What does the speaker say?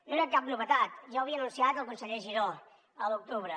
no era cap novetat ja ho havia anunciat el conseller giró a l’octubre